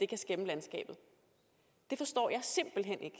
kan skæmme landskabet det forstår jeg simpelt hen ikke